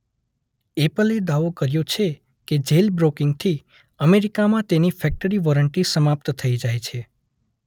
એપલે દાવો કર્યો છે કે જેલબ્રોકિંગથી અમેરિકામાં તેની ફેક્ટરી વોરંટી સમાપ્ત થઈ જાય છે.